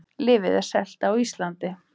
Lyfið er selt á Íslandi